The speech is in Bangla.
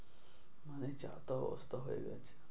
মানে যা-তা অবস্থা হয়ে গেছে।